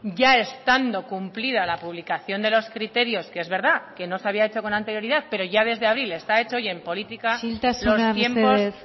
ya estando cumplida la publicación de los criterios que es verdad que no se había hecho con anterioridad pero ya desde abril está hecho y en política isiltasuna mesedez los tiempos